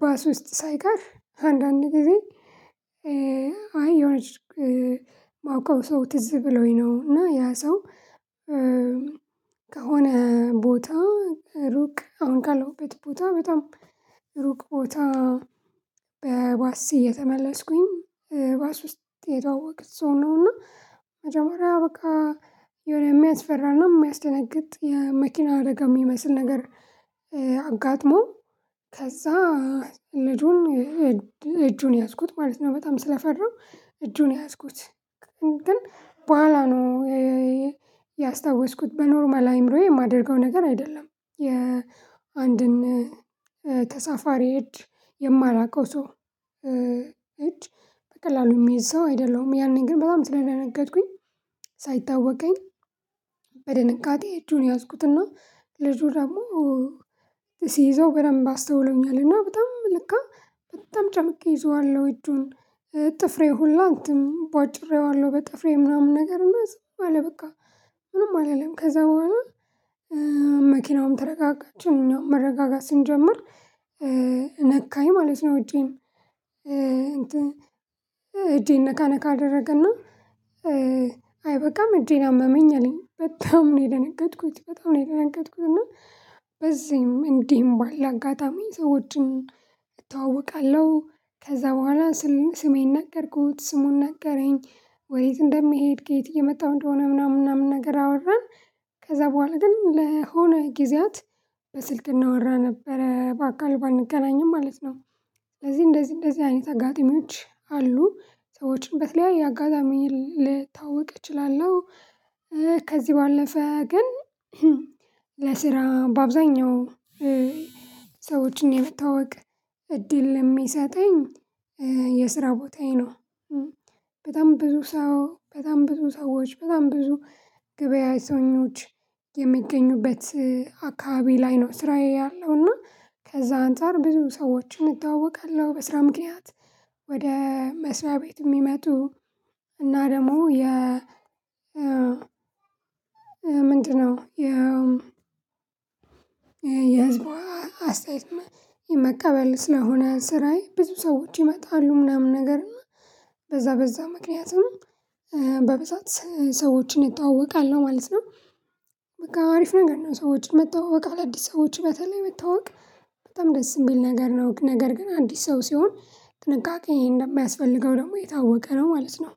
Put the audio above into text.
ባስ ውስጥ ሳይቀር አንዳንድ ጊዜ አይ የሆነች ማውቀው ሰው ትዝ ብሎኝ ነው እና ያ ሰው ከሆነ ቦታ ሩቅ አሁን ካለሁበት ቦታ በጣም ሩቅ ቦታ በባስ እየተመለስኩኝ ባስ ውስጥ የተዋወቅኩት ሰው ነው። እና መጀመሪያ በቃ የሆነ የሚያስፈራነ የሚያስደነግጥ የመኪና አደጋ የሚመስል ነገር አጋጥሞ ከዛ ልጁን እጁን ያዝኩት ማለት ነው በጣም ስለፈራው እጁን ያዝኩት። ግን በኋላ ነው ያስታወስኩት በኖርማል አይምሮዬ የማደርገው ነገር አይደለም። የአንድን ተሳፋሪ እጅ የማላውቀው ሰው እጅ በቀላሉ የሚይዝ ሰው አይደለሁም። ያኔን ግን በጣም ስለደነገጥኩኝ ሳይታወቀኝ በድንገጤ እጁን ያዝኩትና ልጁ ደግሞ ሲይዘው በደንብ አስተውሎኛልና በጣም ለካ በጣም ጨምቄ ይዤዋለው እጁን ጥፍሬ ሁላ እንትን ቧጭሬዋለሁ በጥፍሬ ምናምን ነገር እና ዝም አለ በቃ ምንም አላለም። ከዛ በኋላ መኪናውን ተረጋጋች እኛም መረጋጋት ስንጀምር ነካኝ ማለት ነው እጄን እጄን ነካነካ አደረገና አይበቃም እጄን አመመኝ አለኝ በጣም ነው የደነገጥኩት በጣም ነው የደነገጥኩት። እና በዚህም እንዲህም ባለ አጋጣሚ ሰዎችን እተወዋቀለሁ። ከዛ በኋላ ስሜን ነገርኩት ስሙን ነገረኝ ወዴት እንደሚሄድ ከየት እየመጣሁ እንደሆነ ምናምን ምናምን ነገር አወራን ከዛ በኋላ ግን ለሆነ ጊዜያት በስልክ እንወራ ነበረ በአካል ባንገናኝም ማለት ነው። ለዚህ እንደዚህ እንደዚህ አይነት አጋጢሚዎች አሉ ሰዎችን በተለያየ አጋጣሚ ልታዋወቅ እችላለሁ። ከዚህ ባለፈ ግን ለስራ በአብዛኛው ሰዎችን የመታዋወቅ እድል የሚሰጠኝ የስራ ቦታዬ ነው። በጣም ብዙ ሰው በጣም ብዙ ሰዎች በጣም ብዙ ገብያተኞች የሚገኙበት አካባቢ ላይ ነው ስራዬ ያለው እና ከዛ አንፃር ብዙ ሰዎችን እታዋወቃለሁ በስራ ምክንያት። ወደ መስርያ ቤት የሚመጡ እና ደግሞ የ ምንድነው? የህዝቡ አስተያየት መቀበል ስለሆነ ስራዬ ብዙ ሰዎች ይመጣሉ ምናምን ነገር እና በዛ በዛ ምክንያትም በብዛት ሰዎችን እታዋወቃለሁ ማለት ነው። በቃ አሪፍ ነገር ነው ሰዎችን መታዋወቂያ አደዲስ ሰዎችን በተለይ መታዋወቅ በጣም ደስ የሚል ነገር ነው። ነገር ግን አዲስ ሰው ሲሆን ጥንቃቄ እንደሚያስፈልገው ደግሞ የታወቀ ነው ማለት ነው።